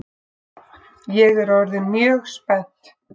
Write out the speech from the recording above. Ég er orðin mjög spennt!